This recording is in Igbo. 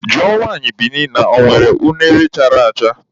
Jụọ nwaanyị Bini na ọ nwere unere chara acha!